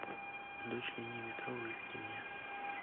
дочь линии метро выведи мне